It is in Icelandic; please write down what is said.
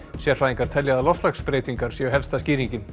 sérfræðingar telja að loftslagsbreytingar séu helsta skýringin